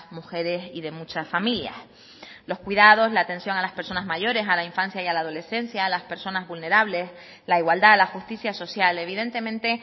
mujeres y de muchas familias los cuidados la atención a las personas mayores a la infancia y a la adolescencia a las personas vulnerables la igualdad la justicia social evidentemente